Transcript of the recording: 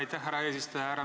Aitäh, härra eesistuja!